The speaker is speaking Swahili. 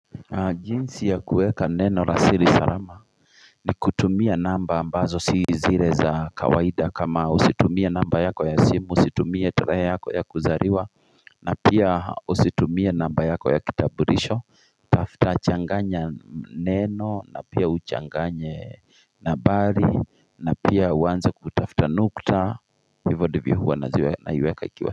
Jinsi ya kuweka neno la siri salama ni kutumia namba ambazo si zile za kawaida kama usitumie namba yako ya simu, usitumie tarehe yako ya kuzaliwa na pia usitumie namba yako ya kitambulisho, tafta changanya neno na pia uchanganye nambari na pia uanze kutafuta nukta, hivyo ndivyo huwa naiweka ikiwa.